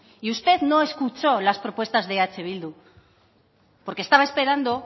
y usted no escuchó las propuestas de eh bildu porque estaba esperando